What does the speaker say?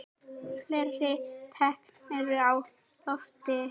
Fleiri teikn eru á lofti.